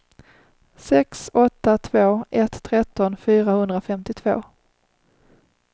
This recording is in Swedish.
sex åtta två ett tretton fyrahundrafemtiotvå